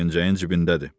Pencəyin cibindədir.